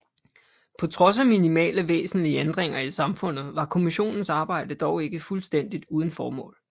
På trods af minimale væsentlige ændringer i samfundet var kommissionens arbejde dog ikke fuldstændigt uden formål